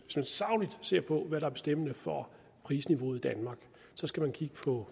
ser på hvad der er bestemmende for prisniveauet i danmark så skal man kigge på